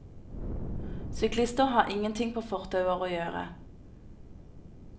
Syklister har ingenting på fortauer å gjøre.